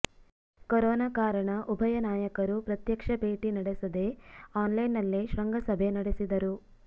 corona ಕಾರಣ ಉಭಯ ನಾಯಕರು ಪ್ರತ್ಯಕ್ಷ ಭೇಟಿ ನಡೆಸದೇ ಆನ್ಲೈನ್ನಲ್ಲೇ ಶೃಂಗಸಭೆ ನಡೆಸಿದರು